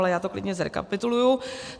Ale já to klidně zrekapituluji.